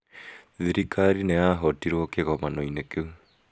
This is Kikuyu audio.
Thirikari nĩ yahootirũo kĩgomano-inĩ kĩu.